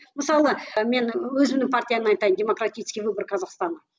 мысалы мен өзімнің партиямды айтайын демократический выбор казахстана